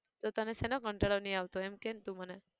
તો તને શેનો કંટાળો નઈ આવતો એમ કેન તું મને